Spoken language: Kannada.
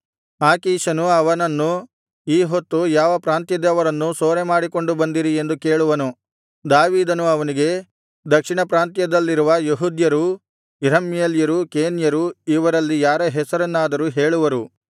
ಆಕೀಷನು ಅವನನ್ನು ಈ ಹೊತ್ತು ಯಾವ ಪ್ರಾಂತ್ಯದವರನ್ನು ಸೂರೆಮಾಡಿಕೊಂಡು ಬಂದಿರಿ ಎಂದು ಕೇಳುವನು ದಾವೀದನು ಅವನಿಗೆ ದಕ್ಷಿಣ ಪ್ರಾಂತ್ಯದಲ್ಲಿರುವ ಯೆಹೂದ್ಯರು ಎರಹ್ಮೇಲ್ಯರು ಕೇನ್ಯರು ಇವರಲ್ಲಿ ಯಾರ ಹೆಸರನ್ನಾದರೂ ಹೇಳುವರು